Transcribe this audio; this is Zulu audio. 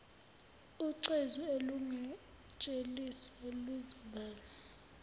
ucezu olungatheliswa luzobalwa